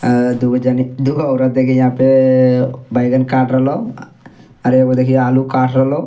अअ दू गो जनि दुगो औरत देखि यहां पेअअ बैगन काट रहलो आर एगो देखि आलू काट रहलो।